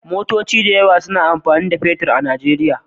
Motoci da yawa suna amfani da fetir a Nijeriya.